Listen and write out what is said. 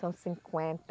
São cinquenta.